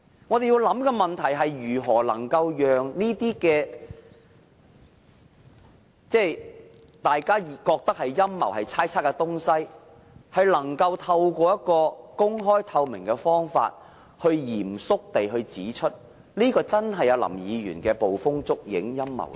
我們要想的問題是如何能夠讓大家覺得是陰謀、猜測的東西，藉公開透明的方法，嚴肅地證明，果然是林議員捕風捉影、陰謀論。